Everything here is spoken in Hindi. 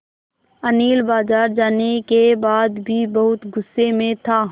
अनिल बाज़ार जाने के बाद भी बहुत गु़स्से में था